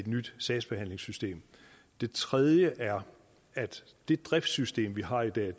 et nyt sagsbehandlingssystem det tredje er at det driftssystem vi har i dag